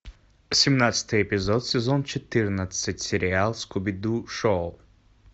семнадцатый эпизод сезон четырнадцать сериал скуби ду шоу